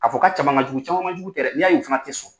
Ka fɔ k'a caman ka jugu caman man jugu tɛ dɛ n'i y'a y'u fana tɛ sɔn.